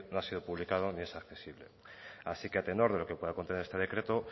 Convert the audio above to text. ha sido publicado ni es accesible así que a tenor de lo que pueda contener este decreto